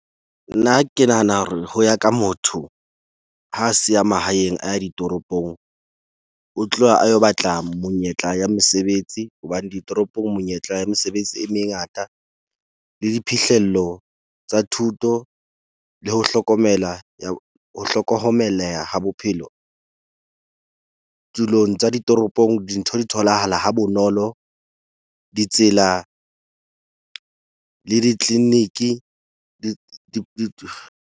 Nna ke nahana hore ho ya ka motho, ha siya mahaeng a ya ditoropong. O tloha a yo batla monyetla ya mesebetsi hobane ditoropong, monyetla ya mesebetsi e mengata le diphihlello tsa thuto le ho hlokomela, ya ho hlokomeleha ha bophelo. Tulong tsa ditoropong dintho di tholahala ha bonolo. Ditsela le di-clinic-i di .